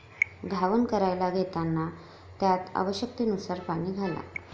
घावन करायला घेताना त्यात आवश्यकतेनुसार पाणी घाला.